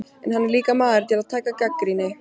En hann er líka maður til að taka gagnrýni.